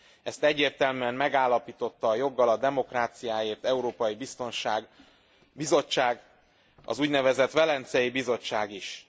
Ezt egyértelműen megállapította a Joggal a demokráciáért európai bizottság, az úgynevezett Velencei Bizottság is.